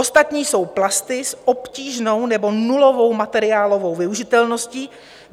Ostatní jsou plasty s obtížnou nebo nulovou materiálovou využitelností.